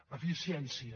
eficiència